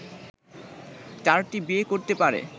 চারটি বিয়ে করতে পারে